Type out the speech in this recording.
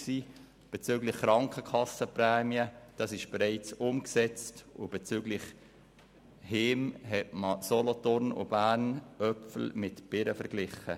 Die Krankenkassenprämien wurden bereits umgesetzt, und betreffend die Heime hat man mit Solothurn und Bern Äpfel mit Birnen verglichen.